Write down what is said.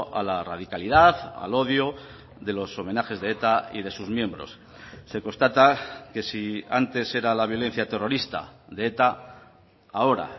a la radicalidad al odio de los homenajes de eta y de sus miembros se constata que si antes era la violencia terrorista de eta ahora